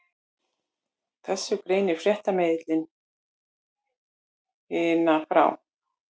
Þessu greinir fréttamiðillinn Hina frá